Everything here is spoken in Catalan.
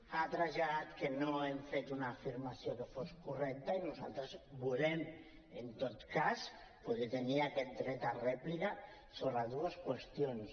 ha traslladat que no hem fet una afirmació que sigui correcta i nosaltres volem en tot cas poder tenir aquest dret a rèplica sobre dues qüestions